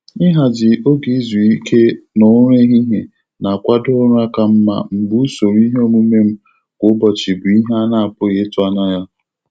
Ịhazi oge izu ike na ụra ehihie na-akwado ụra ka mma mgbe usoro iheomume m kwa ụbọchị bụ ihe a na-apụghị ịtụ anya ya.